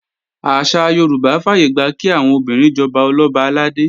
Àṣà Yorùbá fàyègbà kí àwọn obìnrin jọba Ọlọ́ba àlàdé